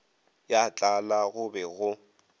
ya tlala go be go